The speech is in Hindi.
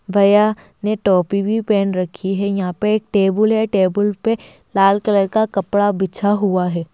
भैया ने टोपी भी पहन रखी है यहां पे एक टेबुल है टेबुल पे लाल कलर का कपड़ा बिछा हुआ है।